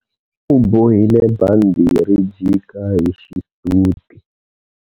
U bohile bandhi ri jika hi xisuti.